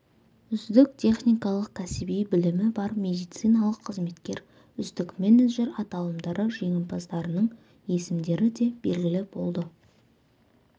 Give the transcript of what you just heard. үздік техникалық кәсіби білімі бар медициналық қызметкер үздік менеджер аталымдары жеңімпаздарының есімдері де белгілі болды